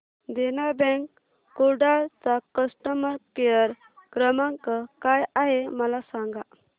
देना bank Kudal चा customer care क्रमांक काय आहे मला सांगा